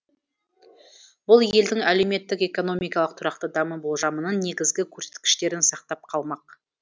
бұл елдің әлеуметтік экономикалық тұрақты даму болжамының негізгі көрсеткіштерін сақтап қалмақ